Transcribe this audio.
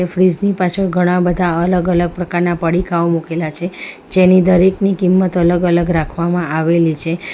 Fridge ની પાછળ ઘણા બધા અલગ અલગ પ્રકારના પડીકાઓ મુકેલા છે જેની દરેકની કિંમત અલગ-અલગ રાખવામાં આવેલી છે.